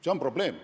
See on probleem.